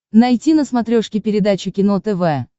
найти на смотрешке передачу кино тв